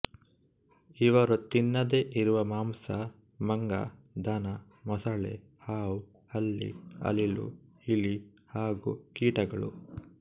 ಇವರು ತಿನ್ನದೇ ಇರುವ ಮಾಂಸ ಮಂಗ ದನ ಮೊಸಳೆ ಹಾವು ಹಲ್ಲಿ ಅಳಿಲು ಇಲಿ ಹಾಗೂ ಕೀಟಗಳು